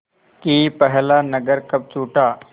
कि पहला नगर कब छूटा